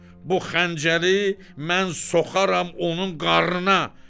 Bu xəncəli mən soxaram onun qarnına.